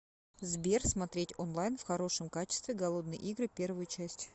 сбер смотреть онлайн в хорошем качестве голодные игры первую часть